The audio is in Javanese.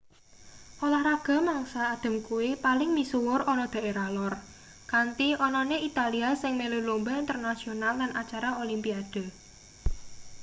olahraga mangsa adhem kuwi paling misuwur ana daerah lor kanthi anane italia sing melu lumba internasional lan acara olimpiade